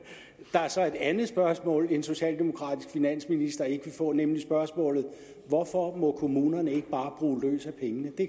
der er så et andet spørgsmål en socialdemokratisk finansminister ikke vil få nemlig spørgsmålet hvorfor må kommunerne ikke bare bruge løs af pengene det